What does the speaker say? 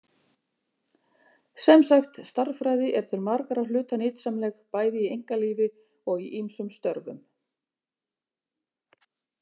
Sem sagt, stærðfræði er til margra hluta nytsamleg, bæði í einkalífi og í ýmsum störfum.